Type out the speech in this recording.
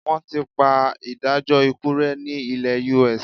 Wọ́n ti pa ìdájọ́ ikú rẹ́ ní ilẹ US.